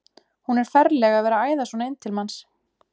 Hún er ferleg að vera að æða svona inn til manns!